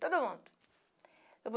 Todo mundo.